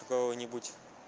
кого-нибудь